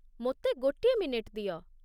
ମୋତେ ଗୋଟିଏ ମିନିଟ ଦିଅ।